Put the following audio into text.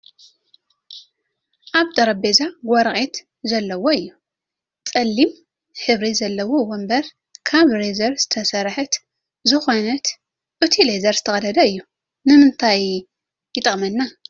ኣብ ጠረጴዛ ወረቅቲ ዘለዎ እዩ። ፀሊም ሕብሪ ዘለዎ ወንበር ካብ ሌዘር ዝተሰረሐት ዝኮነት እቱይ ሌዘር ዝተቃደደ እዩ። ንምንታይ ይጠቅመና ?